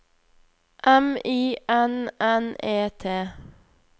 M I N N E T